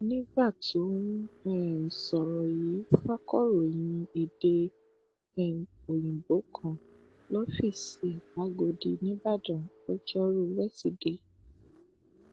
nígbà tó ń um sọrọ yìí fakọròyìn èdè um òyìnbó kan lọfíìsì ẹ làgọdì nííbàdàn lojoruu wesideè